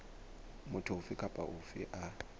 motho ofe kapa ofe a